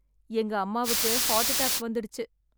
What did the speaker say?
எங்க அம்மாவுக்கு heart attack வந்துடுச்சு.